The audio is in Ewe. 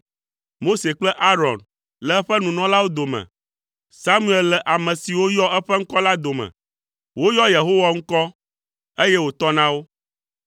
Mose kple Aron le eƒe nunɔlawo dome; Samuel le ame siwo yɔ eƒe ŋkɔ la dome; woyɔ Yehowa ŋkɔ, eye wòtɔ na wo.